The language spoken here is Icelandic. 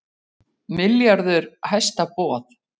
Milljarður hæsta boð